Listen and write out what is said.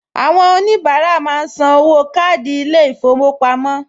Àwọn oníbàárà máa ń san owó káàdì ilé-ìfowópamọ́